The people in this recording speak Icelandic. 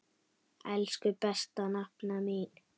Elsku besta nafna mín.